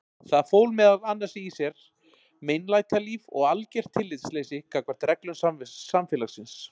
Það fól meðal annars í sér meinlætalíf og algert tillitsleysi gagnvart reglum samfélagsins.